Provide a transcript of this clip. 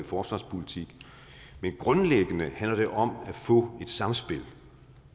forsvarspolitik men grundlæggende handler det om at få et samspil